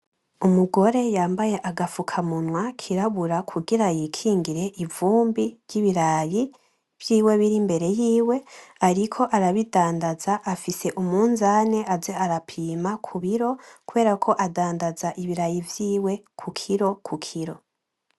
Umugore yambaye agafukamunwa kirabura kugira yikingire ivumbi ry’ibirayi vyiwe biri imbere yiwe, ariko arabidandaza afise umunzani aze arapima kubiro kuberako adandaza ibirayi vyiwe kukiro kukiro.